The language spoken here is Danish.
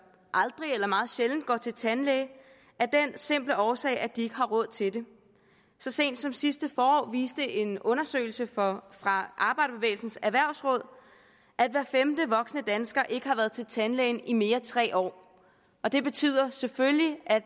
aldrig eller meget sjældent går til tandlæge af den simple årsag at de ikke har råd til det så sent som sidste forår viste en undersøgelse fra fra arbejderbevægelsens erhvervsråd at hver femte voksne dansker ikke har været til tandlægen i mere end tre år og det betyder selvfølgelig at